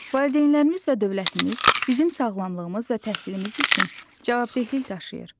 Valideynlərimiz və dövlətimiz bizim sağlamlığımız və təhsilimiz üçün cavabdehlik daşıyır.